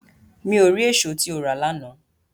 Mi o ri eso ti o ra lana